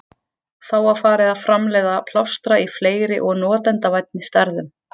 Þá var farið að framleiða plástra í fleiri og notendavænni stærðum.